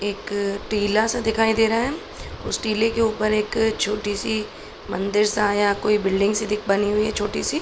एक टीला सा दिखाई दे रहा है उस टीले के ऊपर एक छोटी सी मंदिर सा या कोई बिल्डिंग सी दिख बनी हुई है छोटी सी।